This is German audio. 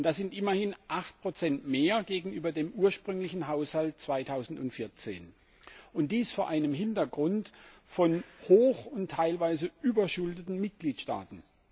Das sind immerhin 8 mehr gegenüber dem ursprünglichen Haushalt 2014 dies vor einem Hintergrund von hoch und teilweise überschuldeten Mitgliedstaaten.